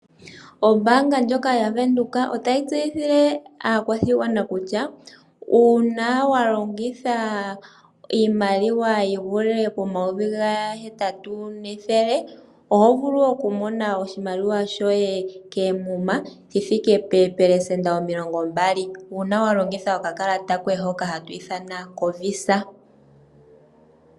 Ombanga ndjoka ya Windhoek otayi tseyithile aakwashigwana kutya uuna wa longitha iimaliwa yivule pomayovi gahetatu nethele oho vulu oku mona oshimaliwa shoye keemuma shi thike peepelesenda omilongo mbali una wa longitha okakalata koye hoka hatwithana kovisa.